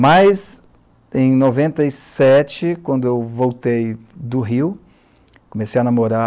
Mas em noventa e sete, quando eu voltei do Rio, comecei a namora.